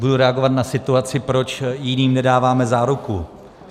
Budu reagovat na situaci, proč jiným nedáváme záruku.